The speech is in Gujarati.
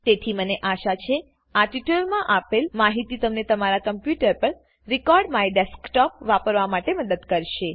તેથીમને આશા છે આ ટ્યુટોરીયલ માં આપેલ માહિતી તમે તમારા કમ્પ્યુટર પર રેકોર્ડમાયડેસ્કટોપ વાપરવા માટે મદદ કરશે